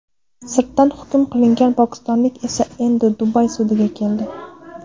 Sirtdan hukm qilingan pokistonlik esa endi Dubay sudiga keldi.